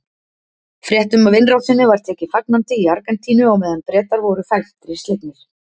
Fréttum af innrásinni var tekið fagnandi í Argentínu á meðan Bretar voru felmtri slegnir.